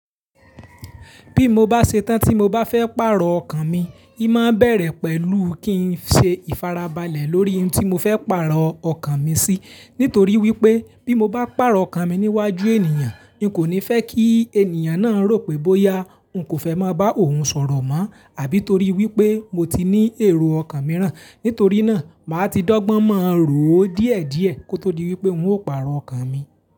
Bí mo bá ṣe tán tí mo bá fẹ́ pààrọ̀ ọkàn mi, ì máa bẹ̀rẹ̀ pẹ̀lú kí n ṣe ìfarabalẹ̀ lórí ohun tí mo fẹ́ pààrọ̀ ọkàn mi sí. Nítorí wípé bí mo bá pààrọ̀ ọkàn mi níwájú ènìyàn, n kò ní fẹ́ kí ènìyàn náà rò pé bóyá n kò fẹ́ máa bá òun sọ̀rọ̀ mọ́ àbí torí wípé mo ti ní èrò ọkàn mìíràn. Nítorí náà, màá ti dọ́gbọ́n mọ̀ ró díẹ̀ díẹ̀ kó tó di wípé n ó pààrọ̀ ọkàn mi.